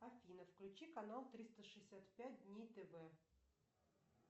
афина включи канал триста шестьдесят пять дней тв